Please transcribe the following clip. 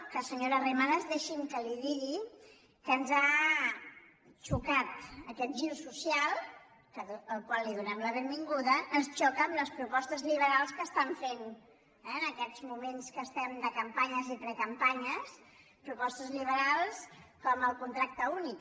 que senyora arrimadas deixi’m que li digui que ens ha xocat aquest gir social al qual donem la benvinguda ens xoca amb les propostes liberals que estan fent en aquests moments que estem de campanyes i precampanyes propostes liberals com el contracte únic